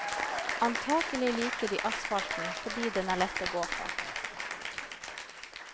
Antagelig liker de asfalten fordi den er lett å gå på.